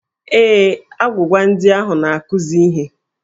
Ee, agwụgwa ndị ahụ na-akụzi ihe.